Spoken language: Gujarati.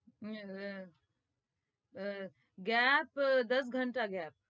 હમ હમમ આહ gap દસ घंटाgap